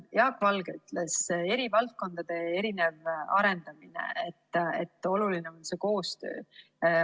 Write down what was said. Jaak Valge rääkis eri valdkondade erinevast arendamisest, sellest, et oluline on koostöö.